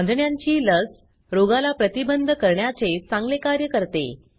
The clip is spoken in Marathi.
कांजिण्यांची लस रोगाला प्रतिबंध करण्याचे चांगले कार्य करते